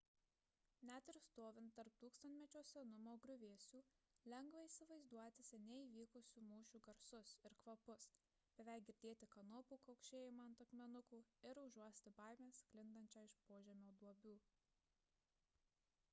net ir stovint tarp tūkstantmečio senumo griuvėsių lengva įsivaizduoti seniai įvykusių mūšių garsus ir kvapus beveik girdėti kanopų kaukšėjimą ant akmenukų ir užuosti baimę sklindančią iš požemio duobių